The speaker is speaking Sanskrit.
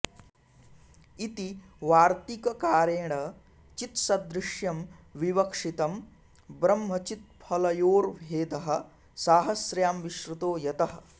इति वार्तिककारेण चित्सदृश्यं विवक्षितम् ब्रह्मचित्फलयोर्भेदः साहस्र्यां विश्रुतो यतः